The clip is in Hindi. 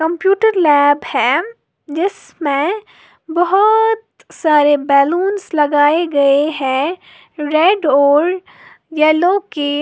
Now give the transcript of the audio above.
कंप्यूटर लैब है जिसमें बहोत सारे बलूंस लगाए गए हैं रेड और येलो के--